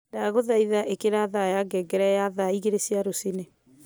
Ndaguthaitha ikira thaa ya ngengere ya thaa igiri cia ruciini